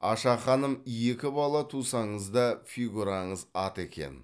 аша ханым екі бала тусаңыз да фигураңыз ат екен